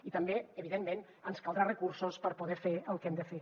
i també evidentment ens caldran recursos per poder fer el que hem de fer